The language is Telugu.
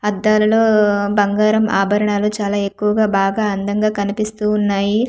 అద్దాలలో బంగారం ఆభరణాలు చాలా ఎక్కువగా బాగా అందంగా కనిపిస్తూ ఉన్నాయి.